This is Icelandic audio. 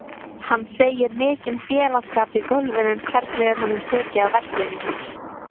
Siglaugur, hvað er á dagatalinu mínu í dag?